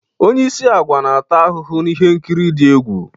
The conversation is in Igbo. Onye isi agwa na-ata ahụhụ na ihe nkiri dị egwu